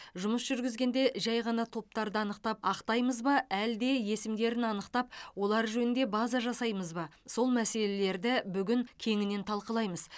жұмыс жүргізгенде жай ғана топтарды анықтап ақтаймыз ба әлде есімдерін анықтап олар жөнінде база жасаймыз ба сол мәселелерді бүгін кеңінен талқылаймыз